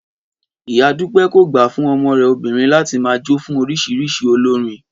Ìyá Dúpẹ́ kò gbà fún ọmọ rẹ̀ obìnrin láti máa jó fún oríṣiríṣi olórin